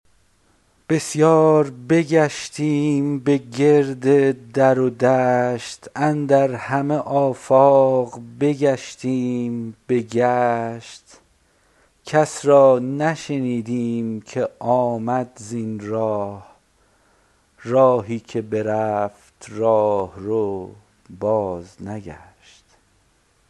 بسیار بگشتیم به گرد در و دشت اندر همه آفاق بگشتیم به گشت کس را نشنیدیم که آمد زین راه راهی که برفت راهرو بازنگشت